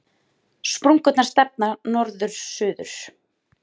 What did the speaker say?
Sprungurnar stefna norður-suður.